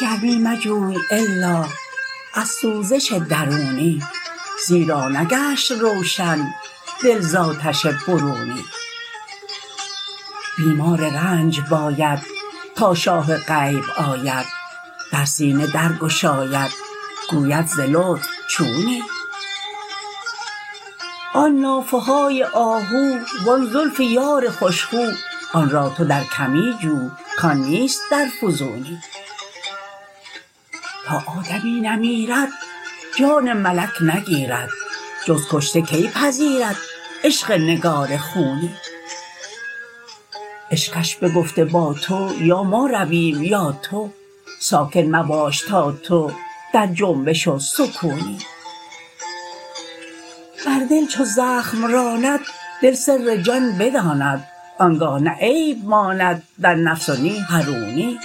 گرمی مجوی الا از سوزش درونی زیرا نگشت روشن دل ز آتش برونی بیمار رنج باید تا شاه غیب آید در سینه درگشاید گوید ز لطف چونی آن نافه های آهو و آن زلف یار خوش خو آن را تو در کمی جو کان نیست در فزونی تا آدمی نمیرد جان ملک نگیرد جز کشته کی پذیرد عشق نگار خونی عشقش بگفته با تو یا ما رویم یا تو ساکن مباش تا تو در جنبش و سکونی بر دل چو زخم راند دل سر جان بداند آنگه نه عیب ماند در نفس و نی حرونی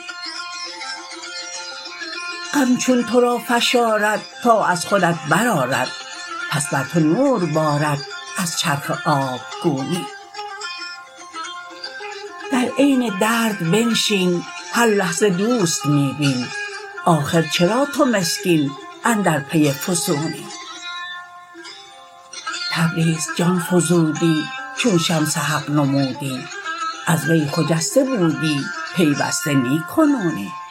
غم چون تو را فشارد تا از خودت برآرد پس بر تو نور بارد از چرخ آبگونی در عین درد بنشین هر لحظه دوست می بین آخر چرا تو مسکین اندر پی فسونی تبریز جان فزودی چون شمس حق نمودی از وی خجسته بودی پیوسته نی کنونی